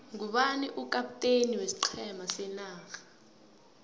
ngubani ukapteni weiqhema senarha